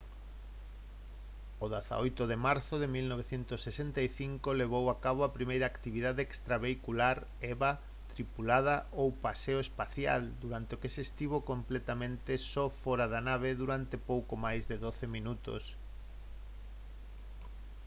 o 18 de marzo de 1965 levou a cabo a primeira actividade extravehicular eva tripulada ou paseo espacial durante a que estivo completamente só fóra da nave durante pouco máis de doce minutos